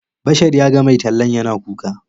Bashar ya ga mai tallan yana kuka.